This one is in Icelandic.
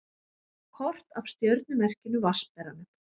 Kort af stjörnumerkinu Vatnsberanum.